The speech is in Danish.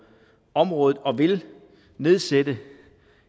området og vil nedsætte